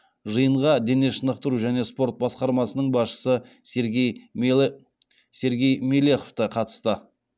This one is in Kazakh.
жиынға дене шынықтыру және спорт басқармасының басшысы сергей мелехов те қатысты